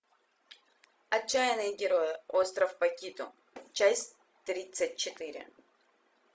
отчаянные герои остров пакито часть тридцать четыре